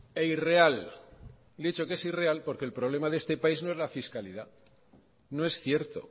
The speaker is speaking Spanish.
e irreal le he dicho que es irreal porque el problema de este país no es la fiscalidad no es cierto